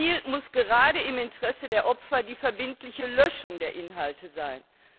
Ziel muss gerade im Interesse der Opfer die verbindliche Löschung der Inhalte sein.